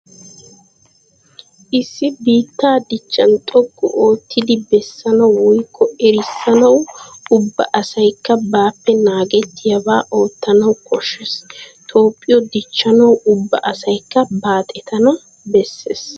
Issi biittaa dichchan xoqqu oottidi bessanawu woykko erissanwu ubba asaykka baappe naagettiyabaa oottanawu koshshees. Toophphiyo dichchanawu ubba asaykka baaxetana bessees.